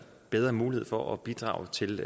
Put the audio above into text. bedre muligheder for at bidrage til